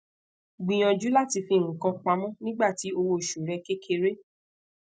gbiyanju lati fi nkan pamọ nigbati owo osu re kekere